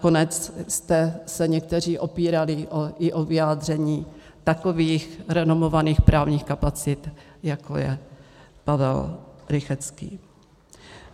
Nakonec jste se někteří opírali i o vyjádření takových renomovaných právních kapacit, jako je Pavel Rychetský.